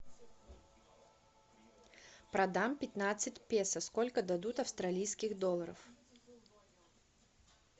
продам пятнадцать песо сколько дадут австралийских долларов